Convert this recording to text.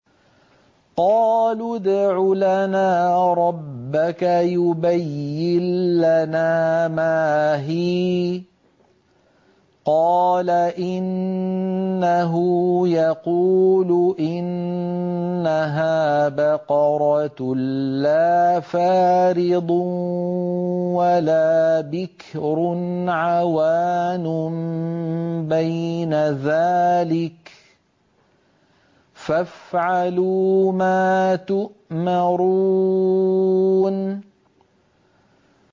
قَالُوا ادْعُ لَنَا رَبَّكَ يُبَيِّن لَّنَا مَا هِيَ ۚ قَالَ إِنَّهُ يَقُولُ إِنَّهَا بَقَرَةٌ لَّا فَارِضٌ وَلَا بِكْرٌ عَوَانٌ بَيْنَ ذَٰلِكَ ۖ فَافْعَلُوا مَا تُؤْمَرُونَ